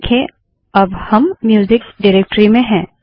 देखें अब हम म्यूजिक डाइरेक्टरी में हैं